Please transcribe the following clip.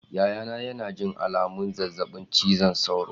Yayana yana jin alamun zazzabin cizon sauro.